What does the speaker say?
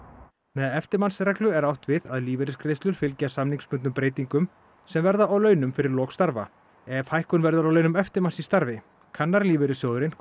með eftirmannsreglu er átt við að lífeyrisgreiðslur fylgja samningsbundnum breytingum sem verða á launum fyrir lok starfa ef hækkun verður á launum eftirmanns í starfi kannar lífeyrissjóðurinn